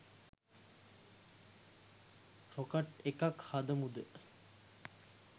Rocket එකක් හදමුද?